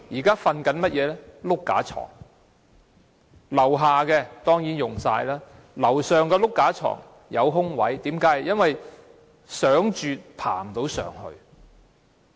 他們現時睡"碌架床"，下格當然滿額，上格有空位，因為即使想睡，也爬不上去。